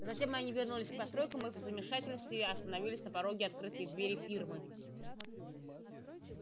затем они вернулись к постройкам и в замешательстве остановились на пороге открытой двери фирмы